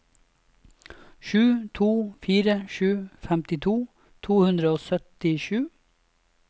sju to fire sju femtito to hundre og syttisju